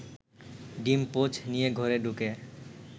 ডিম-পোচ নিয়ে ঘরে ঢুকে